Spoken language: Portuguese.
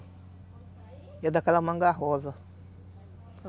E é daquela manga rosa.